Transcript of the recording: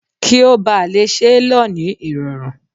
Kí ó bá lè ṣe lọ ní irọrun.